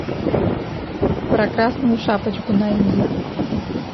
про красную шапочку найди